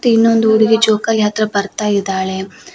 ಇನ್ನೊಂದು ಹುಡುಗಿ ಜೋಕಾಲಿ ಹತ್ರ ಬರ್ತಾಯಿದಾಳೆ.